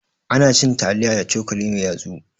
Anacin taliya da cokali mai yatsu